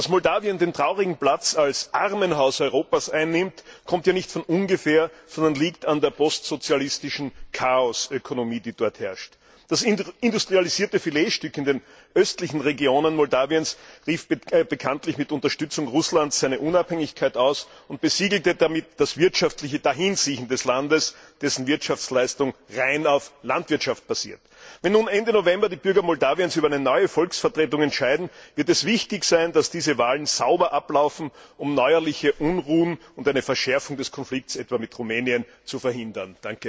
Dass Moldawien den traurigen Platz als Armenhaus Europas einnimmt, kommt ja nicht von ungefähr, sondern liegt an der postsozialistischen Chaos Ökonomie, die dort herrscht. Das industrialisierte Filetstück in den östlichen Regionen Moldawiens rief bekanntlich mit Unterstützung Russlands seine Unabhängigkeit aus und besiegelte damit das wirtschaftliche Dahinsiechen des Landes, dessen Wirtschaftsleistung rein auf Landwirtschaft basiert. Wenn nun Ende November die Bürger Moldawiens über eine neue Volksvertretung entscheiden, wird es wichtig sein, dass diese Wahlen sauber ablaufen, um neuerliche Unruhen und eine Verschärfung des Konflikts etwa mit Rumänien zu verhindern.